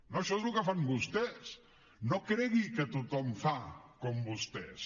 no això és el que fan vostès no cregui que tothom fa com vostès